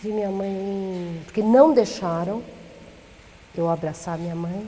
Vi minha mãe... Porque não deixaram eu abraçar minha mãe.